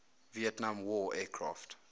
vietnam war aircraft